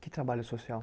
Que trabalho social?